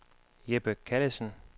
Jeppe Callesen